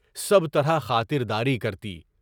سب طرح خاطر داری کرتی۔